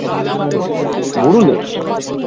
বুড়ুলে